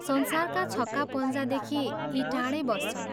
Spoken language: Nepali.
संसारका छक्का पञ्जादेखि यी टाढै बस्छन्।